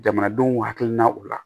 Jamanadenw hakilinaw la